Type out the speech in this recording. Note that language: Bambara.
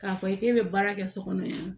K'a fɔ k'e bɛ baara kɛ so kɔnɔ yan